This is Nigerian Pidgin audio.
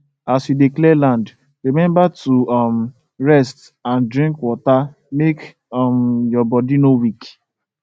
as you dey clear land remember to um rest and drink water make um your body no weak